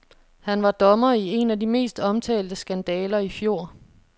Han var dommer i en af de mest omtalte skandaler i fjor.